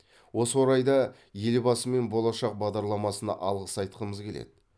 осы орайда елбасы мен болашақ бағдарламасына алғыс айтқымыз келеді